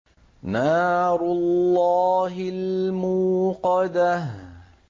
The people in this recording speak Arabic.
نَارُ اللَّهِ الْمُوقَدَةُ